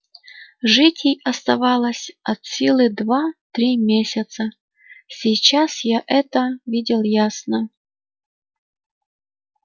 жить ей оставалось от силы два-три месяца сейчас я это видел ясно